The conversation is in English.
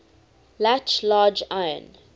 latch large iron